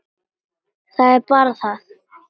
Það er bara það!